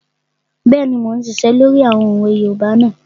Bẹ́ẹ̀ni, mo n ṣiṣẹ́ lórí àwọn òwe yoòbá náà